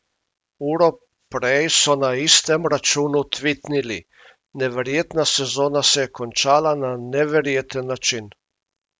Uro prej so na istem računu tvitnili: "Neverjetna sezona se je končala na neverjeten način.